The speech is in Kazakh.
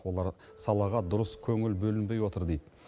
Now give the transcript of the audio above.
олар салаға дұрыс көңіл бөлінбей отыр дейді